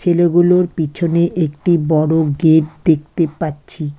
ছেলেগুলোর পিছনে একটি বড় গেট দেখতে পাচ্ছি।